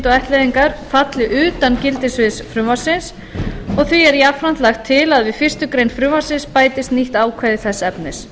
fjölskylduættleiðingar falli utan gildissviðs frumvarpsins og því er jafnframt lagt til að við fyrstu grein frumvarpsins bætist nýtt ákvæði þess efnis